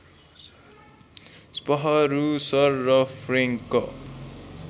स्पहरूसर र फ्रेङ्क